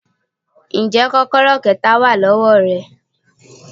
Ǹjẹ́ kọ́kọ́rọ́ kẹta wà ní ọwọ́ rẹ.